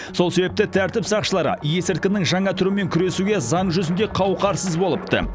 сол себепті тәртіп сақшылары есірткінің жаңа түрімен күресуге заң жүзінде қауқарсыз болыпты